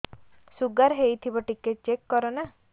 sugar ହେଇଥିବ ଟିକେ check କର ନା